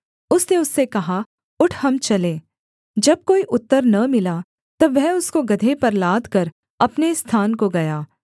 उसने उससे कहा उठ हम चलें जब कोई उत्तर न मिला तब वह उसको गदहे पर लादकर अपने स्थान को गया